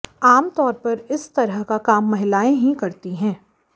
आम तौर इस तरह का काम महिलाएं ही करती हैं